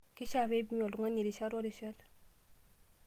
Keishaa pee ipimi oltung'ani rishat o rishat.